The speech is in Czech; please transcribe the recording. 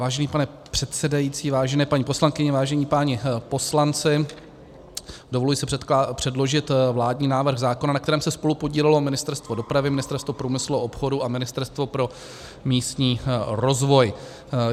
Vážený pane předsedající, vážené paní poslankyně, vážení páni poslanci, dovoluji si předložit vládní návrh zákona, na kterém se spolupodílelo Ministerstvo dopravy, Ministerstvo průmyslu a obchodu a Ministerstvo pro místní rozvoj.